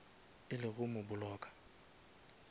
e le go mo blocka